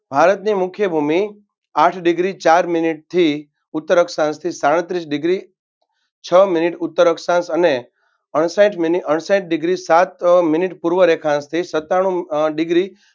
ભારતની મુખ્ય ભૂમિ આઠ degree ચાર મિનિટથી ઉત્તર અક્ષાંશથી સાડત્રીસ degree છ મિનિટ ઉત્તર અક્ષાંશ અને અણસાહીઠ મિનિટ અણસાહીઠ degree સાત મિનિટ પૂર્વ રેખાંશ પૂર્વ રેખાંશ સત્તાણુ અમ અ degree